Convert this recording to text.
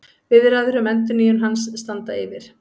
Viðræður um endurnýjun hans standa yfir